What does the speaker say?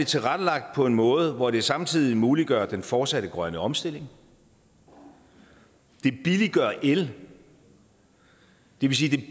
tilrettelagt på en måde hvor det samtidig muliggør den fortsatte grønne omstilling det billiggør el det vil sige at det